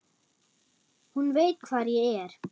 Hún veit hvar ég er.